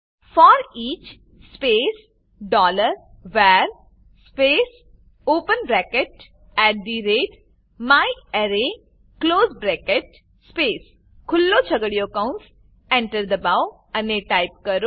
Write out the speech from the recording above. foreach space dollar var space open bracket at the rate myarray close bracket space ખુલ્લો છગડીયો કૌંસ enter દબાવો અને ટાઈપ કરો